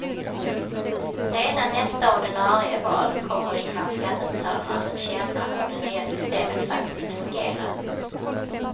Redan nästa ordinarie val kommer innan skattebetalarna fått känna hur det nya systemet faktiskt fungerar.